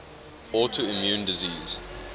autoimmune diseases